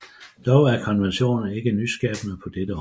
Dog er konventionen ikke nyskabende på dette område